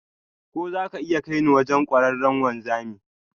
Ko za ka iya kai ni wajen kwararren wanzami?